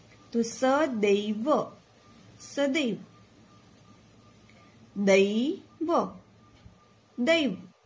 તો સ દૈ વ સદૈવ દૈવ દૈવ